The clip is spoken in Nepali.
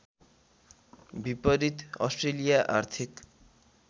विपरीत अस्ट्रेलिया आर्थिक